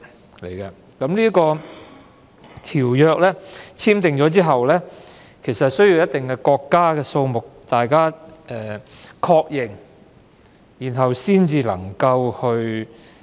《馬拉喀什條約》簽訂後，需一定數目的國家確認後才能生效。